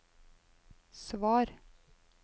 svar